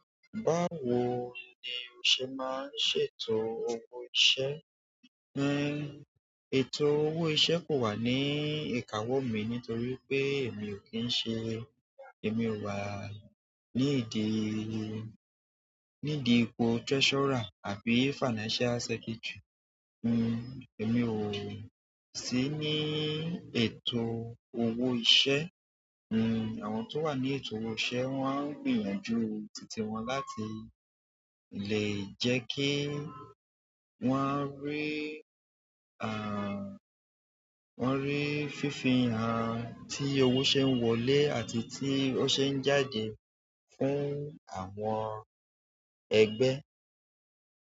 Báwo ni o ṣe máa ń ṣètò owó iṣẹ́? Ètò owó iṣẹ́ kò wà ní ìkáwọ́ mi nítorí pé èmi ò kí ń ṣe, èmi ò wà ní ìdí, ní ìdí ipò treasurer àbí financial secretary. Èmi ò sí ní ètò owó iṣẹ́. Àwọn tó wà ní ètò owó iṣẹ́ wọ́n á ń gbìyànjú títí wọn láti lè jẹ́ kí wọ́n rí, à, wọ́n rí fífihan, tí owó ṣe ń wọlé àti tí owó ṣe ń jáde fún àwọn ẹgbẹ́.